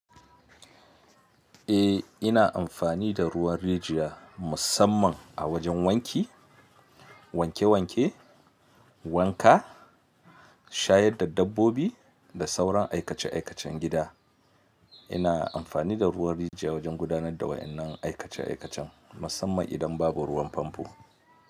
Eh, ina amfani da ruwan rijiya musamman a wajen wanki, wanke wanke, wanka, shayar da dabbobi da sauran aikace aikacen gida. Ina amfani da ruwan rijiya wajen gudanar da wa'innan aikace aikacen, musamman idan babu ruwan famfo.